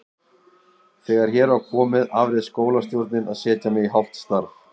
Þegar hér var komið afréð skólastjórnin að setja mig í hálft starf.